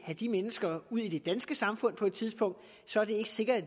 have de mennesker ud i det danske samfund på et tidspunkt og så er det ikke sikkert